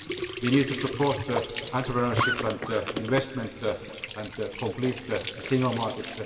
We need to support entrepreneurship and investment and complete the single market.